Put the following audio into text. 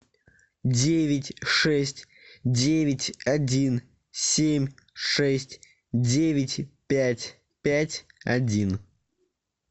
девять шесть девять один семь шесть девять пять пять один